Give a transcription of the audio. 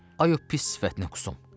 Ay o pis sifətinə qusum!